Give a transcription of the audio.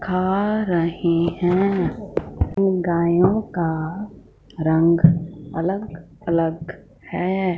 खा रहे हैं गायों का रंग अलग अलग है।